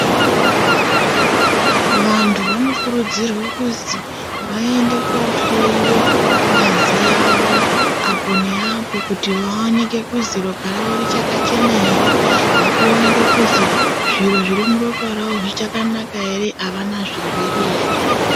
Vanthu vanokurudzirwe kuzi vaende kohloyiwe ngazi yavo apo neapo kuti vaoneke kuzi ropa ravo richakachena ere nekuoneke kuzi zviro zviri muropa ravo zvichakanaka ere ,avana zvirwere ere.